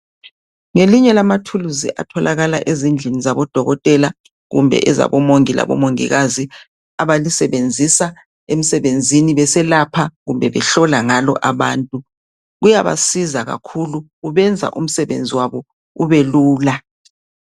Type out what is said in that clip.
Ngelinye lamatuluzi atholakala ezindlini zabodokotela kumbe ezabo Mongi labo Mongikazi abalisebenzisa emsebenzini beselapha kumbe behlola ngalo abantu. Kuyabasiza kakhulu, kubenza umsebenzi wabo ubelula.